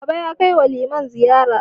Baba ya kai wa liman ziyara.